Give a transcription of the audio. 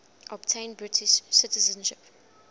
obtain british citizenship